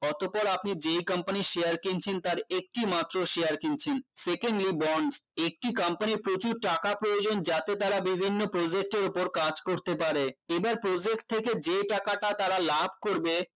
অতঃপর আপনি যেই company এর share কিনছেন তার একটি মাত্র share কিনছেন secondly bond একটি company এর প্রচুর টাকা প্রয়োজন যাতে তারা বিভিন্ন project এর উপর কাজ করতে পারে এবার project থেকে যে টাকাটা তারা লাভ করবে